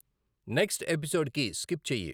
next episode కి skip చెయ్యి